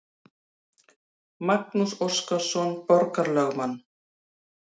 Magnús Óskarsson borgarlögmann.